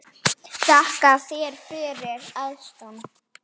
Þakka þér fyrir, elskan.